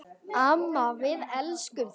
Amma, við elskum þig.